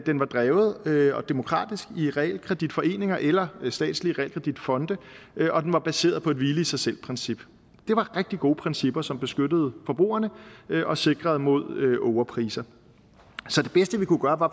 den var drevet demokratisk i realkreditforeninger eller statslige realkreditfonde og den var baseret på et hvile i sig selv princip det var rigtig gode principper som beskyttede forbrugerne og sikrede imod ågerpriser så det bedste vi kunne gøre var